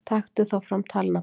Taktu þá fram talnabandið.